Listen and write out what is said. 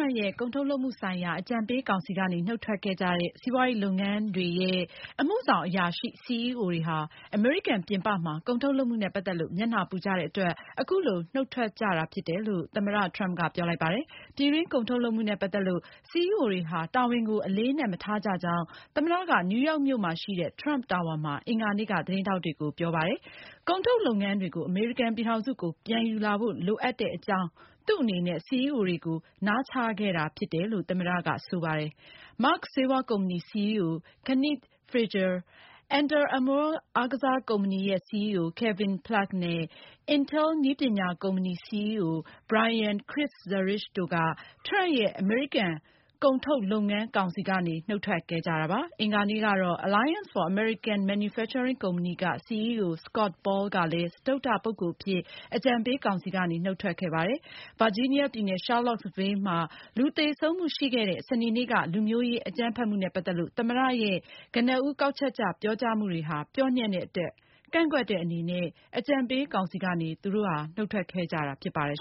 မ့်ရဲ့ ကုန်ထုတ်လုပ်မှု ဆိုင်ရာ အကြံပေး ကောင်စီ ကနေ နုတ်ထွက်ခဲ့ကြတဲ့ စီးပွားရေး လုပ်ငန်းတွေရဲ့အမှုဆောင် အရာရှိ CEO တွေဟာ အမေရိကန်ပြင်ပမှာ ကုန်ထုတ်လုပ်မှုနဲ့ ပတ်သက်လို့ မျက်နှာပူကြတဲ့ အတွက် အခုလို နုတ်ထွက်ကြခြင်း ဖြစ်တယ်လို့ သမ္မတ ထရမ့်က ပြောလိုက်ပါတယ်။ ပြည်တွင်း ကုန်ထုတ်လုပ်မှုနဲ့ ပတ်သက်လို့ CEO တွေဟာ တာဝန်ကို အလေးအနက် မထားကြကြောင်း၊ သမ္မတက နယူးရောက်မြို့ရှိ ထရမ့် Tower မှာ အင်္ဂါနေ့က သတင်းထောက်တွေကို ပြောလိုက်ပါတယ်။ ကုန်ထုတ်လုပ်ငန်းတွေကို အမေရိကန်ပြည်ထောင်စုကို ပြန်ယူလာဖို့ လိုအပ်တဲ့ အကြောင်း သူ့အနေနဲ့ CEO တွေကို နားချခဲ့တာ ဖြစ်ကြောင်းလည်း သမ္မတက ပြောပါတယ်။ Merck ဆေးဝါးကုမ္ပဏီ CEO Kenneth Frazier၊၊ Under Armour အားကစားကုမ္ပဏီ၊ Kevin Plank နဲ့ Intel နည်းပညာကုမ္ပဏီ CEO Brian Krzanich တို့က ထရမ့်ရဲ့ အမေရိကန် ကုန်ထုတ်လုပ်ငန်း ကောင်စီကနေ နုတ်ထွက်ခဲ့ကြတာ ဖြစ်ပါတယ်။ အင်္ဂါနေ့က Alliance for American Manufacturing ကုမ္ပဏီ CEO Scott Paul ကလည်း စတုတ္ထ ပုဂ္ဂိုလ်အဖြစ် အကြံပေး ကောင်စီကနေ နုတ်ထွက်ခဲ့ပါတယ်။ ဗာဂျီနီးယားပြည်နယ် ရှားလော့စ်ဗေးလ်မှာ လူသေဆုံးမှု ရှိခဲ့တဲ့ စနေနေ့က လူမျိုးရေး အကြမ်းဖက်မှုနဲ့ ပတ်သက်လို့ သမ္မတရဲ့ကနဦး ကောက်ချက်ချ ပြောကြားမှုတွေဟာ ပျော့ညံ့တဲ့ အတွက်ကန့်ကွက်တဲ့ အနေနဲ့ အကြံပေး ကောင်စီကနေ နုတ်ထွက်ခဲ့ကြတာ ဖြစ်ပါတယ်